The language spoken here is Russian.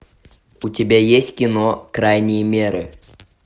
у тебя есть кино крайние меры